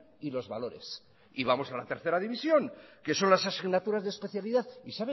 y los valores y vamos a la tercera división que son las asignaturas de especialidad